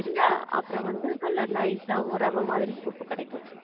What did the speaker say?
சரியா? அப்புறம் வந்து நல்ல nice ஆ ரவ மாதிரி உப்பு கெடைக்கும்.